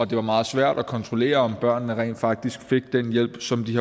det var meget svært at kontrollere om børnene rent faktisk fik den hjælp som de